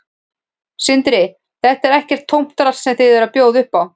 Sindri: Þetta er ekkert tómt drasl sem þið eruð að bjóða upp á?